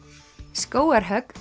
skógarhögg